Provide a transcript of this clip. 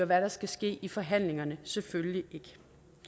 hvad der skal ske i forhandlingerne selvfølgelig ikke